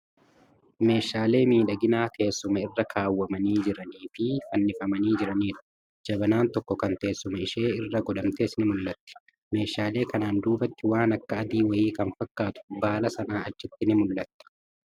Meeshaalee miidhaginaa teessuma irra kaawwamanii jiranii fi fannifamanii jiranidha. Jabanaan tokko kan teessuma ishee irra godhamtes ni mul'atti. Meeshaalee kanaan duubatti waan akka adii wayii kan fakkatu baala Sanaa achitti ni Mul'ata.